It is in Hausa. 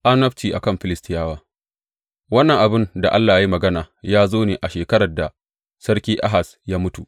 Annabci a kan Filistiyawa Wannan abin da Allah ya yi magana ya zo ne a shekarar da Sarki Ahaz ya mutu.